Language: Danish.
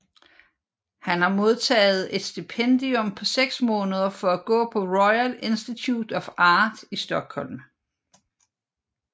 Han har modtaget et stipendium på seks måneder for at gå på Royal Institute of Art i Stockholm